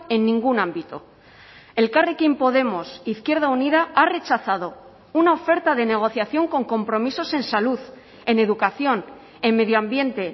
en ningún ámbito elkarrekin podemos izquierda unida ha rechazado una oferta de negociación con compromisos en salud en educación en medio ambiente